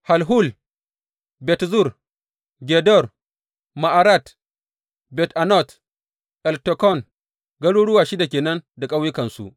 Halhul, Bet Zur, Gedor, Ma’arat, Bet Anot, Eltekon, garuruwa shida ke nan da ƙauyukansu.